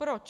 Proč?